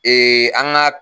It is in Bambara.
Ee an ga